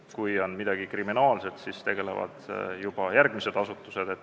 Kui on midagi kriminaalset, siis tegelevad sellega juba järgmised asutused.